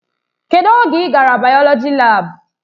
Kedụ oge ị gara bayoloji laabu?